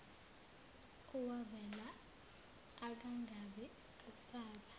owavela akangabe esaba